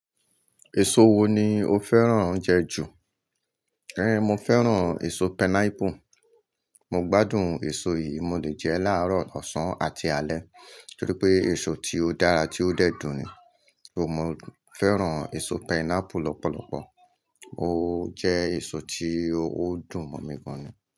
Èso wo ni o fẹ́ràn oúnjẹ jù? É mi o fẹ́ràn èso pineapple. Mo gbádùn èso yìí, mo lè jẹ ẹ láàárọ̀, ọ̀sán àti alẹ́ torí pé èso tí ó dára tí ó dẹ́dun ni. Ó mo fẹ́ràn èso pineapple lọ́pọ̀lọpọ̀. Ó jẹ́ èso tí ó dùn mí gan ni.